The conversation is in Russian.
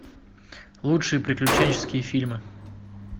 лучшие приключенческие фильмы